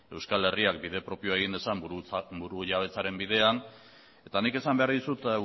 euskal herriak bide propio egin dezan burujabetzaren bidean eta nik esan behar dizut